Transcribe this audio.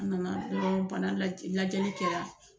A na na dɔrɔn bana lajɛ lajɛli kɛra.